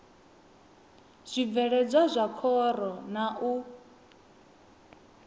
zwibveledzwa zwa khoro na u